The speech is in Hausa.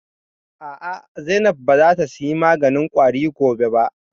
A'a, Zainab ba za ta saya maganin ƙwari gobe ba